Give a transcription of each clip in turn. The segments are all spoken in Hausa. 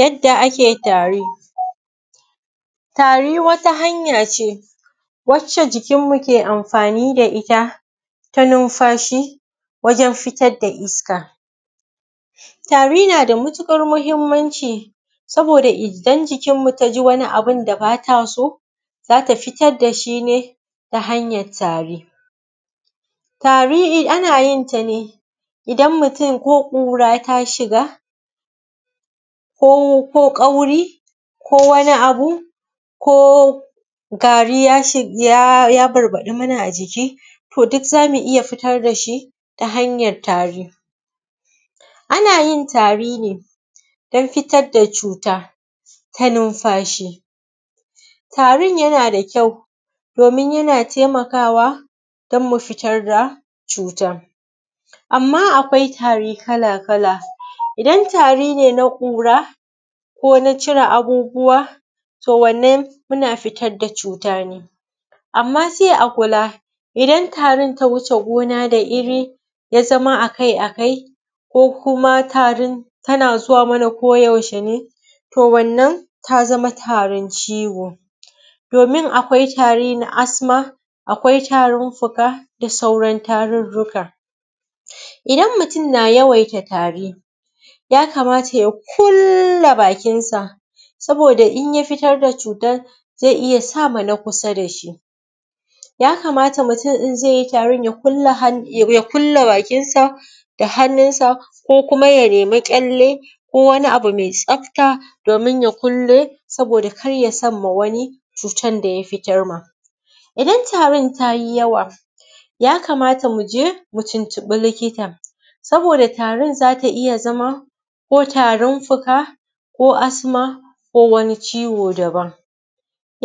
Yadda ake tari, tari wata hanya ce wacce jikinmu ke amfani da ita, ta numfashi wajen fitar da iska. Tari na da matuɗar muhimmanci, saboda idan jikin mu ta ji wani abun da ba ta so, za ta fitad da shi ne ta hanyar tari. Tari ana yin ta ne idan mutum ko ƙura ta shiga, ko ƙauri ko wani abu ko gari ya ya barbaɗi mana a jiki. To duk za mi iya fitar da shi ta hantyar tari. Ana yin tari don fitar da cuta ta numfashi, tarin yana da kyau domin yana taimakawa don mu fitar da cuta. Amma akwai tari kal-kala, idan tari ne na ƙura ko na cire abubuwa to wannan muna fitar da cuta ne. amma sai a kula idan tari ta wuce ggona da iri, ya zama a kai a kai, ko kuma tarin tana zuwa mana kodayaushe ne, to wannan ta zama tarin ciwo. Domin akwai tari na asma, akwai tarin fuka da sauran tarirrika. Idan mutum na yawaita tari yakamata ya kulla bakinsa, saboda idan ya fitar da cutan zai iya sa ma na kusa da shi. Yakamata idan mutum zai yi tarin ya kulle han ya kulle bakinsa, da hannunsa ko kuma ya nemi ƙyalle ko wani abu mai tsafta, domin ya kulle saboda kada ya samma wani cutar da ya fitamma. Idan tarin ta yi yawa yakama mu je mu tuntumi likita. aboda tarin za ta iya zama ko tarin fuka, ko asma ko wani ciwo daban.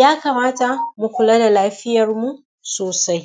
Yakamata mu kula da lafiyarmu sosai.